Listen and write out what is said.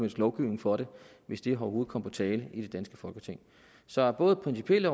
lovgivning for det hvis det overhovedet kom på tale i det danske folketing så både af principielle